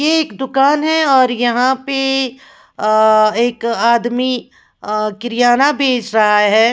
यह एक दुकान है और यहाँ पे अ एक आदमी किराना बेच रहा है।